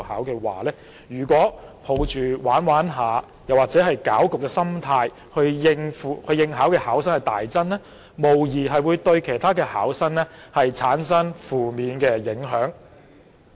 要是有人抱着"玩玩下"或攪局的心態去應考而令考生大增，無疑會對其他考生造成負面的影響。